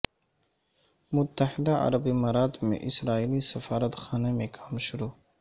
متحدہ عرب امارات میں اسرائیلی سفارتخانہ میں کام شروع